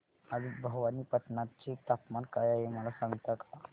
आज भवानीपटना चे तापमान काय आहे मला सांगता का